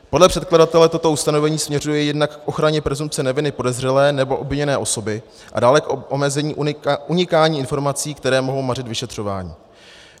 Podle předkladatele toto ustanovení směřuje jednak k ochraně presumpce neviny podezřelé nebo obviněné osoby a dále k omezení unikání informací, které mohou mařit vyšetřování.